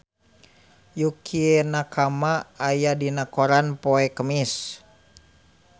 Yukie Nakama aya dina koran poe Kemis